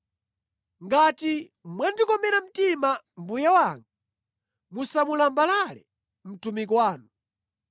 “Ngati mwandikomera mtima, mbuye wanga, musamulambalale mtumiki wanu.